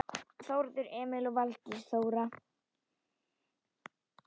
Þórður Emil og Valdís Þóra.